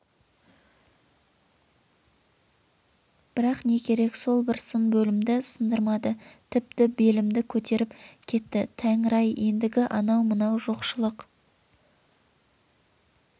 бірақ не керек сол бір сын белімді сындырмады тіпті белімді көтеріп кетті тәңір-ай ендігі анау-мынау жоқшылық